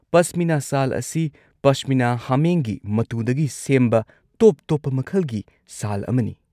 ꯄꯁꯃꯤꯅꯥ ꯁꯥꯜ ꯑꯁꯤ ꯄꯥꯁꯃꯤꯅꯥ ꯍꯥꯃꯦꯡꯒꯤ ꯃꯇꯨꯗꯒꯤ ꯁꯦꯝꯕ ꯇꯣꯞ-ꯇꯣꯞꯄ ꯃꯈꯜꯒꯤ ꯁꯥꯜ ꯑꯃꯅꯤ꯫